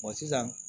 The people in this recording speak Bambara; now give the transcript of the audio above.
sisan